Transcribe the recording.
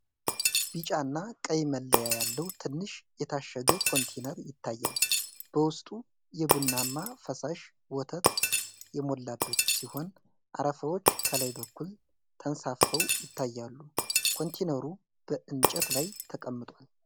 ቢጫና ቀይ መለያ ያለው ትንሽ የታሸገ ኮንቴይነር ይታያል። በውስጡ የቡናማ ፈሳሽ ወተት የሞላበት ሲሆን አረፋዎች ከላይ በኩል ተንሳፍፈው ይታያሉ። ኮንቴይነሩ በእንጨት ላይ ተቀምጧል።